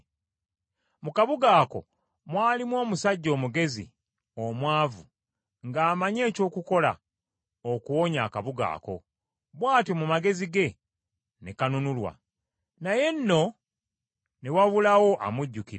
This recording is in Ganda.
Mu kabuga ako mwalimu omusajja omugezi, omwavu, ng’amanyi eky’okukola okuwonya akabuga ako, bw’atyo mu magezi ge ne kanunulwa. Naye nno ne wabulawo amujjukira.